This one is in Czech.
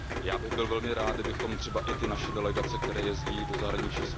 Já bych byl velmi rád, kdybychom třeba i naše delegace, které jezdí do zahraničí.